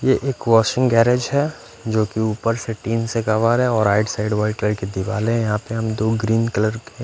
ये एक washing garage है जो कि ऊपर से टीन से कवर है और राइट साइड वाइट कलर की दीवालें हैं यहां पे हम दो ग्रीन कलर के--